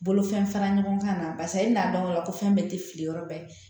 Bolofɛn fara ɲɔgɔnkan na barisa i bi n'a dɔn ko fɛn bɛɛ tɛ fili yɔrɔ bɛɛ